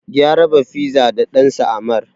Ya raba fiza da ɗansa Ammar.